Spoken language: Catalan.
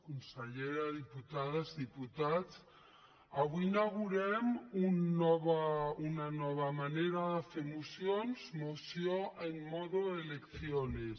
consellera diputades diputats avui inaugurem una nova manera de fer mocions moció en modo elecciones